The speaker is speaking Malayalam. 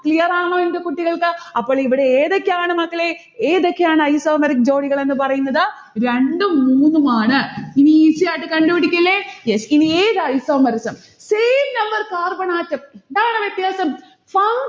clear ആണോ എന്റെ കുട്ടികൾക്ക്? അപ്പോൾ ഇവിടെ ഏതൊക്കെയാണ് മക്കളെ, ഏതൊക്കെയാണ് isomeric ജോഡികളെന്ന് പറയുന്നത്? രണ്ടും മൂന്നുമാണ്. ഇനി easy ആയിട്ട് കണ്ടുപിടിക്കില്ലേ? yes ഇനി isomerism same number carbon atom എന്താണ് വ്യത്യാസം?